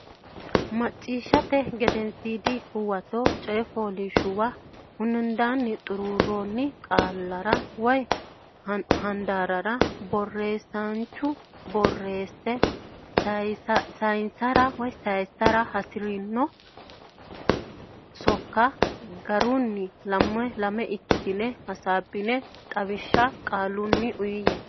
Macciishshate Gedensiidi Huwato coy fooliishshuwa hundaanni xuruurroonni qaallara woy handaarrara borreessaanchu borrosi saysara sayissara hasi ri dhino sokka garinni lame lame ikkitine hasaabbine xawishsha qaalunni uyiyye.